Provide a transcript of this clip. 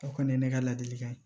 O kɔni ye ne ka ladili kan ye